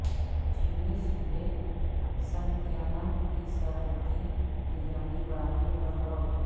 چینی صوبے سنکیانگ کی سرحدی نگرانی بڑھانے پر غور